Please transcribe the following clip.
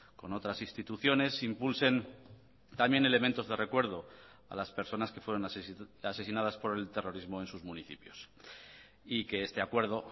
con otras instituciones impulsen también elementos de recuerdo a las personas que fueron asesinadas por el terrorismo en sus municipios y que este acuerdo